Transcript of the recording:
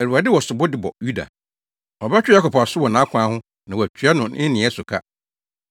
Awurade wɔ sobo de bɔ Yuda; ɔbɛtwe Yakob aso wɔ nʼakwan ho na watua no ne nneyɛe so ka.